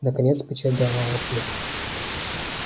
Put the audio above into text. наконец печать дала отклик